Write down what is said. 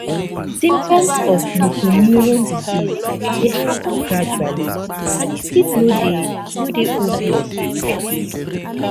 symptoms of motor neurone disease dey happun gradually and e fit no dey no dey obvious at first